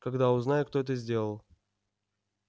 когда узнаю кто это сделал